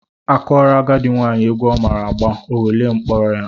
A kụọrọ agadị nwaanyị egwu ọ maara agba, o welie mkpọ ya.